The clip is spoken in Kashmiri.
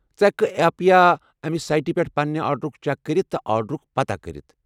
ژٕ ہیٚکہٕ کھہٕ ایپ یا سایٹہِ پٮ۪ٹھ پننہِ آرڈرُک چیک کٔرتھ تہٕ آرڈرُک پتاہ كٔرِتھ ۔